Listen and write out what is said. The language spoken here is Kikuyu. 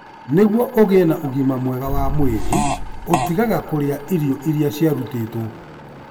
Nĩguo ũgĩe na ũgima mwega wa mwĩrĩ, ũtigaga kũrĩa irio iria ciarutĩtwo.